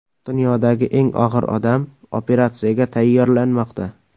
Dunyodagi eng og‘ir odam operatsiyaga tayyorlanmoqda.